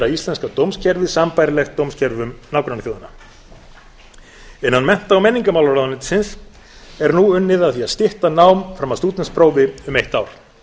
íslenska dómskerfið sambærilegt dómskerfum nágrannaþjóða innan mennta og menningarmálaráðuneytisins er nú unnið að því að stytta nám fram að stúdentsprófi um eitt ár